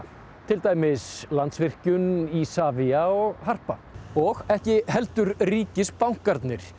til dæmis Landsvirkjun Isavia og Harpa og ekki heldur ríkisbankarnir